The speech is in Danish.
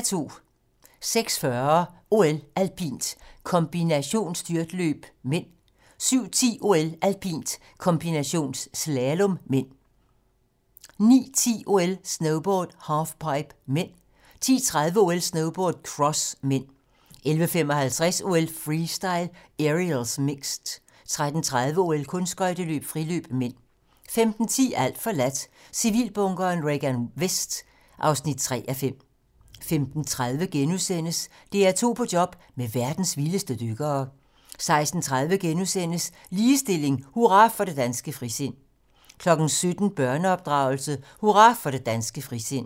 06:40: OL: Alpint - kombinationsstyrtløb (m) 07:10: OL: Alpint - kombinationsslalom (m) 09:10: OL: Snowboard - halfpipe (m) 10:30: OL: Snowboard - cross (m) 11:55: OL: Freestyle - Aerials, mixed 13:30: OL: Kunstskøjteløb - friløb (m) 15:10: Alt forladt - Civilbunkeren Regan Vest (3:5) 15:30: DR2 på job med verdens vildeste dykkere * 16:30: Ligestilling: Hurra for det danske frisind * 17:00: Børneopdragelse: Hurra for det danske frisind